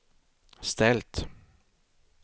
ställt